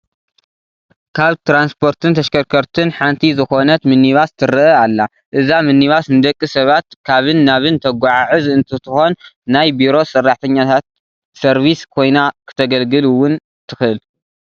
ካብ ትራንስፖርትን ተሽከርከርትን ሓንቲ ዝኾነት ሚኒባስ ትረአ ኣላ፡፡ እዛ ሚኒባስ ንደቂ ሰባት ካብን ናብን ተጓዓዕዝ እንትትኮን ናይ ቢሮ ሰራሕተኛታት ሰርቪስ ኮይና ክተግልግል ውን ትኽእል፡፡